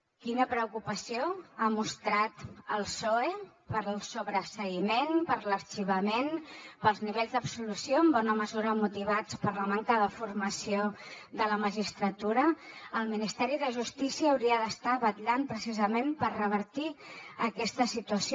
quina preocupació ha mostrat el psoe pel sobreseïment per l’arxivament pels nivells d’absolució en bona mesura motivats per la manca de formació de la magistratura el ministeri de justícia hauria d’estar vetllant precisament per revertir aquesta situació